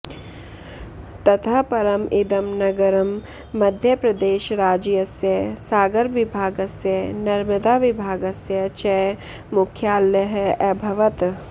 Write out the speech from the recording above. ततः परम् इदं नगरं मध्यप्रदेशराज्यस्य सागरविभागस्य नर्मदाविभागस्य च मुख्यालयः अभवत्